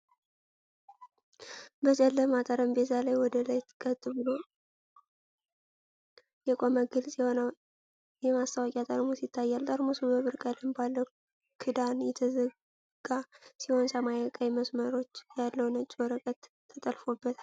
በጨለማ ጠረጴዛ ላይ ወደ ላይ ቀጥ ብሎ የቆመ ግልጽ የሆነ የመስታወት ጠርሙስ ይታያል። ጠርሙሱ በብር ቀለም ባለው ክዳን የተዘጋ ሲሆን፣ ሰማያዊና ቀይ መስመሮች ያለው ነጭ ወረቀት ተለጥፎበታል።